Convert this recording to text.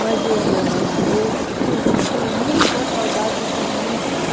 Mas eu ia na igreja, eu tenho tenho muita saudade dos vizinhos.